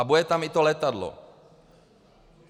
A bude tam i to letadlo.